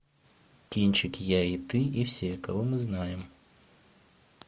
кинчик я и ты и все кого мы знаем